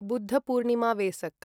Buddha Purnima Vesak